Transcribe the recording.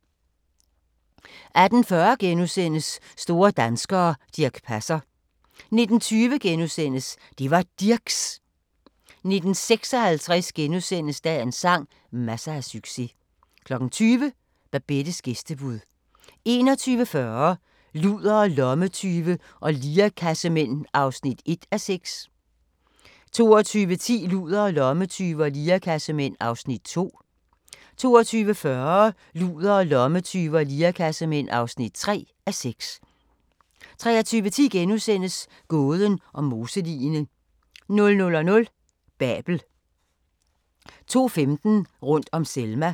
18:40: Store danskere - Dirch Passer * 19:20: Det var Dirchs! * 19:56: Dagens sang: Masser af succes * 20:00: Babettes gæstebud 21:40: Ludere, lommetyve og lirekassemænd (1:6) 22:10: Ludere, lommetyve og lirekassemænd (2:6) 22:40: Ludere, lommetyve og lirekassemænd (3:6) 23:10: Gåden om moseligene * 00:00: Babel 02:15: Rundt om Selma